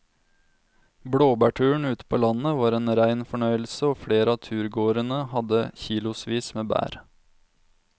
Blåbærturen ute på landet var en rein fornøyelse og flere av turgåerene hadde kilosvis med bær.